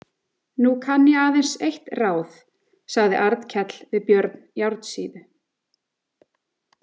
Nú kann ég aðeins eitt ráð, sagði Arnkell við Björn járnsíðu.